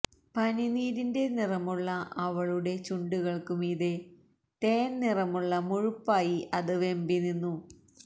പനിനീരിന്റെ നിറമുള്ള അവളുടെ ചുണ്ടുകള്ക്കു മീതെ തേന് നിറമുള്ള മുഴുപ്പായി അത് വെമ്പി നിന്നു